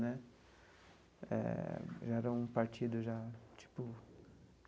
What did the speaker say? Né eh já era um partido já tipo.